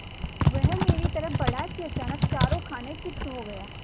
वह मेरी तरफ़ बढ़ा कि अचानक चारों खाने चित्त हो गया